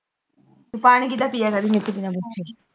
ਤੂੰ ਪਾਣੀ ਕਿਦਾ ਪੀਆ ਕਰਦੀ ਮੇਰੇ ਤੋਂ ਬਿਨਾਂ ਪੁੱਛੇ